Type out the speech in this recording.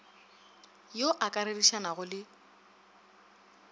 yo o ka rerišanago le